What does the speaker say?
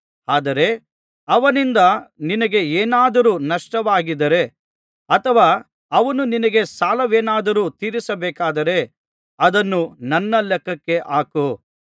ಆದರೆ ಅವನಿಂದ ನಿನಗೆ ಏನಾದರೂ ನಷ್ಟವಾಗಿದ್ದರೆ ಅಥವಾ ಅವನು ನಿನಗೆ ಸಾಲವೇನಾದರೂ ತೀರಿಸಬೇಕಾಗಿದ್ದರೆ ಅದನ್ನು ನನ್ನ ಲೆಕ್ಕಕ್ಕೆ ಹಾಕು